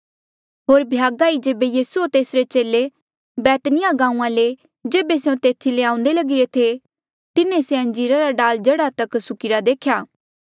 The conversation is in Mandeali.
होर भ्यागा ई जेबे यीसू होर तेसरे चेले बैतनिया गांऊँआं ले जेबे स्यों तेथी ले आऊंदे लगिरे थे तिन्हें से अंजीरा रा डाल जड़ा तक सुक्किरे देख्या